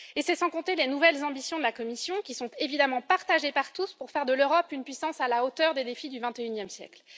Et c'est sans compter les nouvelles ambitions de la Commission, qui sont évidemment partagées par tous pour faire de l'Europe une puissance à la hauteur des défis du XXIe siècle.